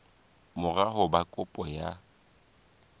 mora ho ba kopo ya